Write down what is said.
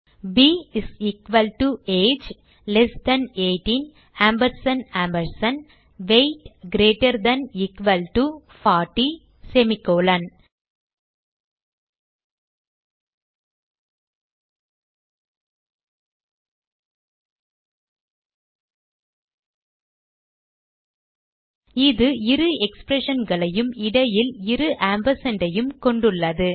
ப் is equal to less than 18 ampersand ampersand with greater than equal to 40 இது இரு expressionகளையும் இடையில் இரு ampersand ஐயும் கொண்டுள்ளது